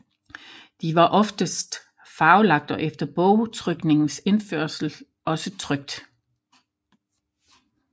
De var oftest farvelagt og efter bogtrykningens indførelse også trykt